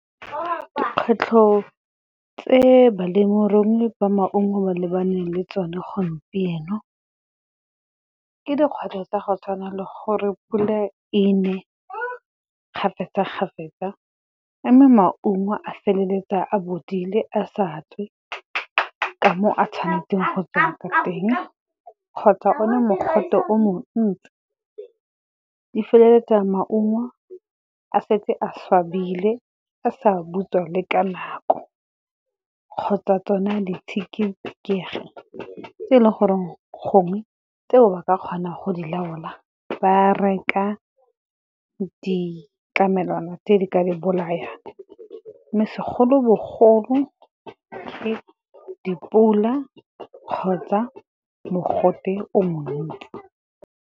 Dikgwetlho tse balemirui ba maungo ba lebaneng le tsone gompieno, ke dikgwetlho tsa go tshwana le gore pula e ne kgapetsa-kgapetsa, mme maungo a feleletsa a bodile a sa tswe ka mo a tshwanetseng go tswa ka teng. Kgotsa one mogote o montsi, di feleletsa maungo a setse a swabile a sa butswa le ka nako. Kgotsa tsona di tse e leng gore gongwe tseo ba ka kgona go di laola, ba reka ditlamelwana tse di ka di bolayang. Mme segolobogolo ke dipula kgotsa mogote o montsi.